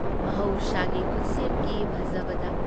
ꯃꯍꯩꯁꯥꯒꯤ ꯈꯨꯠꯁꯦꯝꯒꯤ ꯐꯖꯕꯗ ꯫